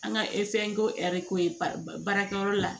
An ka ko ɛri ko ye baarakɛyɔrɔ la